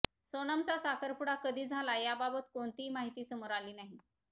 सोनमचा साखरपुडा कधी झाला याबाबत कोणतीही माहिती समोर आली नाही